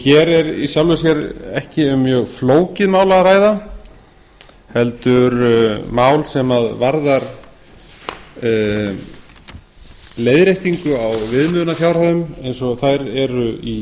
hér er í sjálfu sér ekki um mjög flókið mál að ræða heldur mál sem varðar leiðréttingu á viðmiðunarfjárhæðum eins og þær eru í